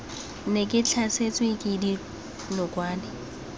ne ke tlhasetswe ke dinokwane